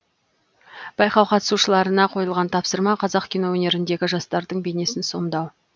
байқау қатысушыларына қойылған тапсырма қазақ кино өнеріндегі жастардың бейнесін сомдау